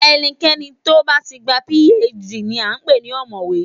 Ẹnikẹni tó bá ti gba PhD ni à ń pè ní ọ̀mọ̀wé